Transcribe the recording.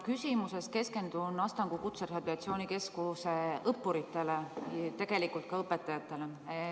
Küsimuses keskendun Astangu Kutserehabilitatsiooni Keskuse õppuritele, tegelikult ka õpetajatele.